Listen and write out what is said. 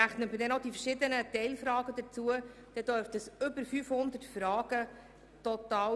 Rechnet man die verschiedenen Teilfragen hinzu, dürften es über 500 Fragen sein.